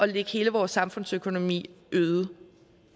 lægge hele vores samfundsøkonomi øde